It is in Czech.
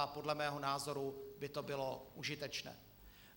A podle mého názoru by to bylo užitečné.